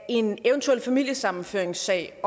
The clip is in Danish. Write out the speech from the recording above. en eventuel familiesammenføringssag